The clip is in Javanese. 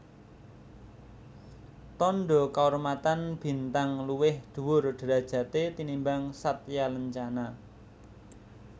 Tandha kaurmatan Bintang luwih dhuwur derajaté tinimbang Satyalancana